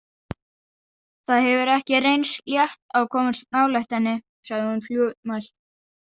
Það hefur ekki reynst létt að komast nálægt henni, sagði hún fljótmælt.